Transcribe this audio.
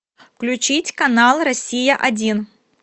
включить канал россия один